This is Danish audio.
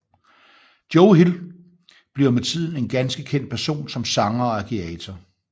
Joe Hill bliver med tiden en ganske kendt person som sanger og agitator